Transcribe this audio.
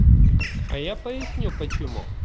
а я поясню почему